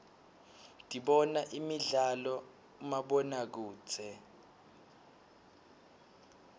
dibona imidlalo uibomabonokudze